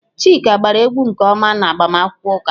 Chika gbara egwu nke ọma n'agbamakwụkwọ ụka.